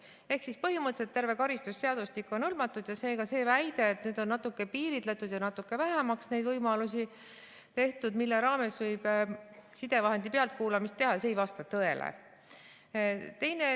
Ehk siis põhimõtteliselt terve karistusseadustik on hõlmatud ja seega see väide, et nüüd on natuke piiritletud ja natuke vähemaks neid võimalusi tehtud, mille raames võib sidevahendi pealtkuulamist teha, see ei vasta tõele.